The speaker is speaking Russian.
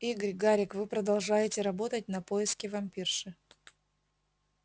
игорь гарик вы продолжаете работать на поиске вампирши